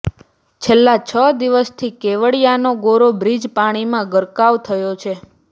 છેલ્લા છ દિવસથી કેવડિયાનો ગોરા બ્રીજ પાણીમાં ગરકાવ થયો છે